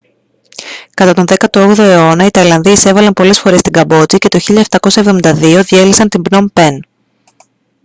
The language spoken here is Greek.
κατά τον 18ο αιώνα οι ταϊλανδοί εισέβαλαν πολλές φορές στη καμπότζη και το 1772 διέλυσαν την πνομ πεν